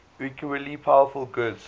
equally powerful gods